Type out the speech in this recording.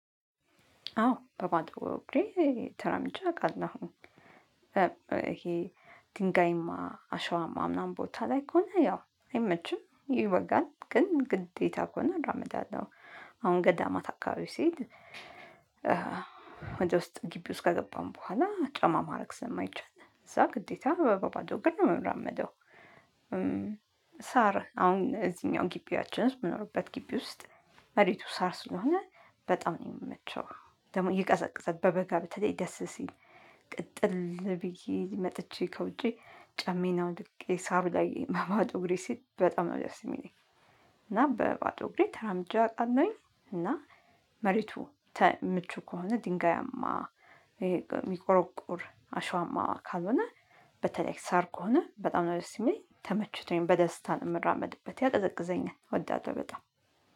አዎ በባዶ እግሬ ተራምጄ አውቃለሁኝ ይሄ ድንጋይማ አሸዋማ ምናምን ቦታ ላይ ከሆነ ያው አይመችም ይወጋል ግን ግዴታ ከሆነ አራመዳለሁ። አሁን ገዳማት አካባቢ ሲሄድ ወደ ውስጥ ግቢ ውስጥ ከገባን በኋላ ጫማ ማድረግ ሰማይቻል እዛ ግዴታ በባዶ ግን ነው የምራመደው። ሳር አሁን እዚህኛው ግቢያችን ውስጥ የምኖርበት ግቢ ውስጥ መሬቱ ሳር ስለሆነ በጣም ነው የሚመቸው ደግሞ ይቀዘቅዛል በበጋ በተለይ ደስ ሲል። ቅጥል ብዬ መጥቼ ከውጪ ጫሜዬን አውልቄ ሳሩ ላይ በባዶ እግሬ ስሄድ በጣም ነው ደስ የሚለኝ። እና በባዶ እግሬ ተራምጃ አቃለሁኝ። እና መሬቱ ምቹ ከሆነ ድንጋያማ ይሄ የሚቆረቁር አሸዋማ ካልሆነ በተለይ ሳር ከሆነ በጣም ነው ደስ የሚለኝ ተመችቶኝ በደስታ ነው የምራመድበት ያቀዘቅዘኛል እወዳለሁ። በጣም